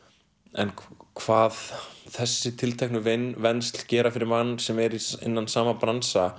en hvað þessi tilteknu vensl gera fyrir mann sem er innan sama bransa